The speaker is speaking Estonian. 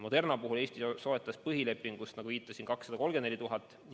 Moderna puhul Eesti soetas põhilepingu raames, nagu viitasin, 234 000 doosi.